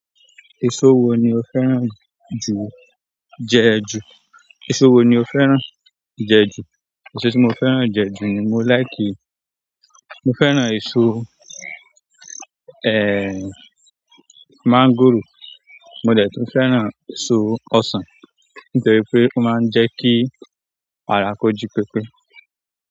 Èso wo ni o fẹ́ràn ju jẹ ju? Èso wo ni o fẹ́ràn jẹ ju? Èso tí mo fẹ́ràn jẹ ju ni mo láìkí, mo fẹ́ràn èso, ehn, mọ́ngòrò. Mo dẹ̀ tun fẹ́ràn èso ọsàn nítorí pé ó máa ń jẹ́ kí ara kó jí pépé.